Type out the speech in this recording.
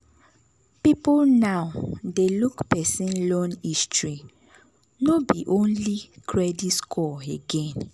people now dey look person loan history no be only credit score again.